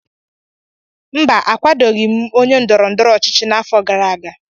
mba, akwadoghị m onye ndọrọ ndọrọ ọchịchị n'afọ gara aga